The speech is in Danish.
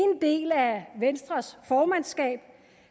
del af venstres formandskab